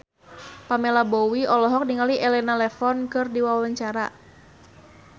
Pamela Bowie olohok ningali Elena Levon keur diwawancara